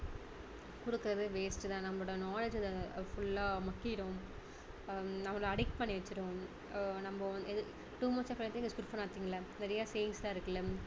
கொடுக்கிறது waste தான் நம்மளோட knowledge full லா மக்கிடும் அஹ் நம்பளை addict பண்ணி வச்சிடும் அஹ் நம்ம அத்~ too much of anything is not good for nothing ல நிறைய sayings லாம் இருக்குல